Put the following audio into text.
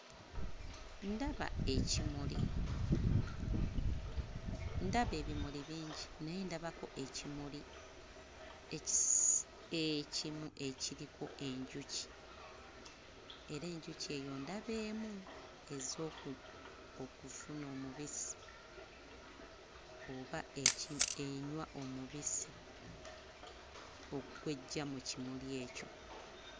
Ndaba ekimuli, ndaba ebimuli bingi naye ndabako ekimuli ekis... ekimu ekiriko enjuki era enjuki eyo ndaba emu, ezze oku okufuna omubisi oba enywa omubisi gw'eggya mu kimuli ekyo.